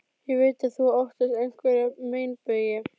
Ég veit að þú óttast einhverja meinbugi.